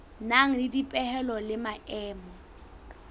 nang le dipehelo le maemo